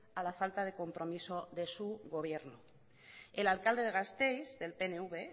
a la falta de compromiso de su gobierno el alcalde de gasteiz del pnv